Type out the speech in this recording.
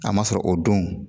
A ma sɔrɔ o don